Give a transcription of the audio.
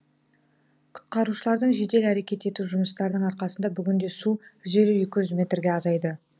құтқарушылардың жедел әрекет ету жұмыстарының арқасында бүгінде су жүз елу екі жүз метрге азайды